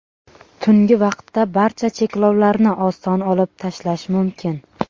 Tungi vaqtda barcha cheklovlarni oson olib tashlash mumkin.